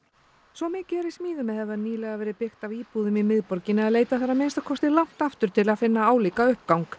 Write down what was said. svo mikið er í smíðum eða hefur nýlega verið byggt af íbúðum í miðborginni að leita þarf að minnsta kosti langt aftur til að finna álíka uppgang